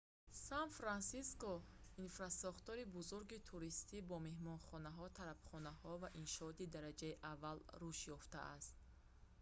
сан-франсиско инфрасохтори бузурги туристӣ бо меҳмонхонаҳо тарабхонаҳо ва иншооти дараҷаи аввал рушд ёфтааст